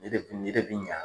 Nin de nin de bɛ ɲa